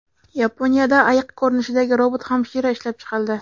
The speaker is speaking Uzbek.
Yaponiyada ayiq ko‘rinishidagi robot-hamshira ishlab chiqildi.